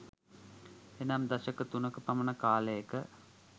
එනම් දශක තුනක පමණ කාලයක